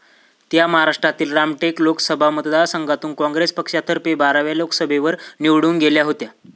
त्या महाराष्ट्रातील रामटेक लोकसभा मतदार संघातून काँग्रेस पक्षातर्फे बाराव्या लोकसभेवर निवडून गेल्या होत्या